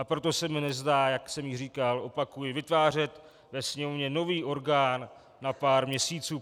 A proto se mi nezdá, jak jsem již říkal, opakuji, vytvářet ve Sněmovně nový orgán na pár měsíců.